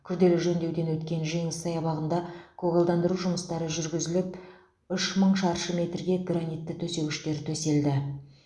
күрделі жөндеуден өткен жеңіс саябағында көгалдандыру жұмыстары жүргізіліп үш мың шаршы метрге гранитті төсегіштер төселді